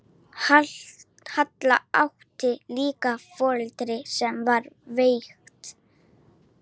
Halla átti líka foreldri sem var veikt.